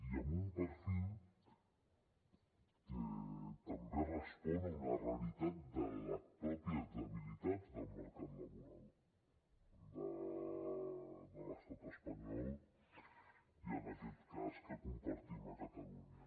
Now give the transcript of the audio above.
i amb un perfil que també respon a una realitat de les mateixes debilitats del mercat laboral de l’estat espanyol i en aquest cas que compartim a catalunya